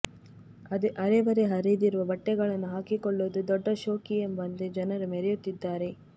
ಅರೆ ಬರೇ ಹರಿದಿರುವ ಬಟ್ಟೆಗಳನ್ನು ಹಾಕಿಕೊಳ್ಳುವುದು ದೊಡ್ಡ ಶೋಕಿ ಎಂಬಂತೆ ಜನರು ಮೆರೆಯುತ್ತಿದ್ದಾರೆ